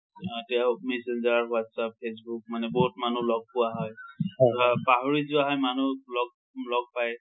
আ messenger, WhatsApp, Facebook মানে বহুত মানুহ লগ পোৱা হয়। ধৰা পাহৰি যোৱা হয় মানুহক লগ~ লগ পাই।